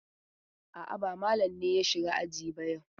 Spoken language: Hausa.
A'a, ba Malam ne ya shiga aji ba yau.